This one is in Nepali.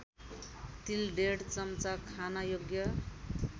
तिलडेढ चम्चा खानयोग्य